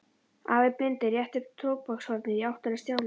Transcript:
Afi blindi rétti tóbakshornið í áttina að Stjána.